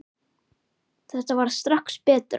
Þetta varð strax betra.